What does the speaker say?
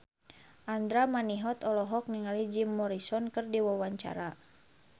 Andra Manihot olohok ningali Jim Morrison keur diwawancara